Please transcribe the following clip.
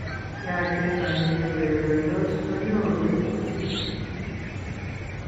ya chezani cheurerendos konyorun kosir